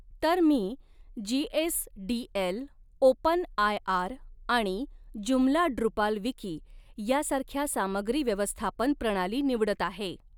तर मी GSDL open IR आणि जूमला डृपाल विकी यासारख्या सामग्री व्यवस्थापन प्रणाली निवडत आहे.